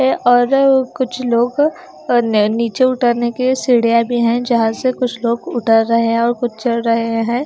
और कुछ लोग और ने नीचे उतरने के लिए सीढ़ियाँ भी हैं जहाँ से कुछ लोग उतर रहे है और कुछ चढ़ रहे है।